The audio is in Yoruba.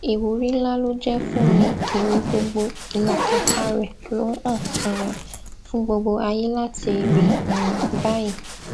ìwúrí ńlá ló jẹ fún mi ère gbogbo ìlàkàkà rẹ ló hàn um fún gbogbo ayé láti rí um báyìí